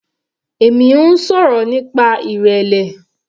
Èmi ń sọ̀rọ̀ nípa ìrẹlẹ.